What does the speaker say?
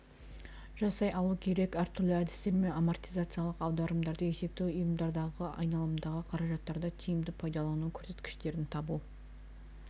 жасай алу керек әртүрлі әдістермен амортизациялық аударымдарды есептеу ұйымдардағы айналымдағы қаражаттарды тиімді пайдалану көрсеткіштерін табу